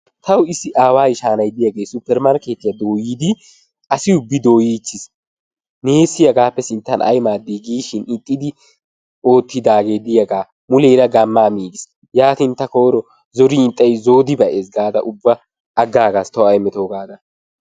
Tawu issi aawaa ishay nay diyagee suppermarkkeetiya dooyidi asi ubbi dooyichchiis neessi hagaappe sinttan ay maaddii giishin ixxidi oottidaagee diyagaa muleera gammaa miigiis. Yaatin ta koyro zorin ixxay zoodi ba'ees gaada ubba aggaagas tawu ay metoo gaada.